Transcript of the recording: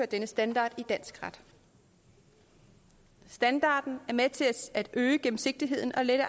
denne standard i dansk ret standarden er med til at øge gennemsigtigheden og lette